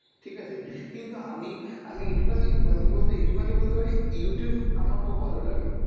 ঠিক আছে, কিন্তু আমি আমি এটুখানি মানে কী বলতো এইটুখানি বলতে পারি Youtube আমার খুব ভালো লাগে।